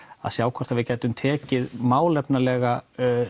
að sjá hvort við gætum tekið málefnalega